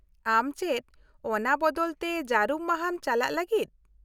-ᱟᱢ ᱪᱮᱫ ᱚᱱᱟ ᱵᱚᱫᱚᱞ ᱛᱮ ᱡᱟᱹᱨᱩᱢ ᱢᱟᱦᱟᱢ ᱪᱟᱞᱟᱜᱼᱟ ᱞᱟᱜᱤᱫ ?